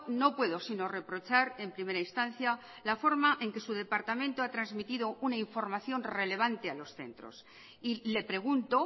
no puedo sino reprochar en primera instancia la forma en que su departamento ha trasmitido una información relevante a los centros y le pregunto